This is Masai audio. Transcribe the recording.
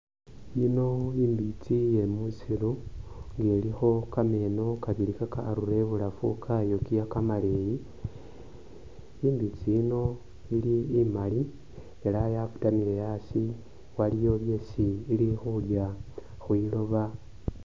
Yiino imbitsi yemusiru nga ilikho kameno kabili kakarura ibulafu kayokiya kamaleyi imbitsi yiino ili imaali elah yasitamile asii waliwo byesi ili khulya khwiloba